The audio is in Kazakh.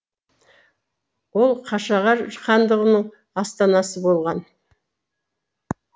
ол қашағар хандығының астанасы болған